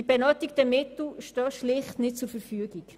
Die benötigten Mittel stehen schlicht nicht zur Verfügung.